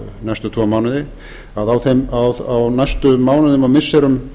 næstu tvo mánuði á næstu mánuðum og missirum